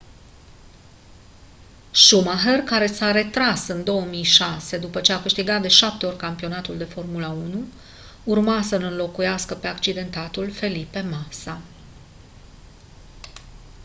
schumacher care s-a retras în 2006 după a câștigat de 7 ori campionatul de formula 1 urma să-l înlocuiască pe accidentatul felipe massa